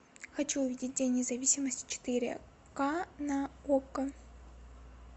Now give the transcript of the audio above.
хочу увидеть день независимости четыре ка на окко